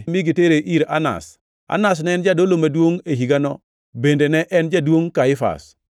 mi gitere ir Anas. Anas ne en jadolo maduongʼ e higano bende ne en jaduongʼ Kaifas.